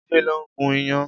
Jide ló n gún iyán